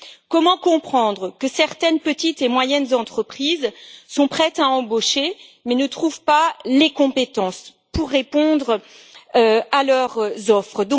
Comment comprendre que certaines petites et moyennes entreprises sont prêtes à embaucher mais ne trouvent pas les compétences pour répondre à leurs offres?